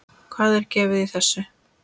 Hvað er gefið í þessu?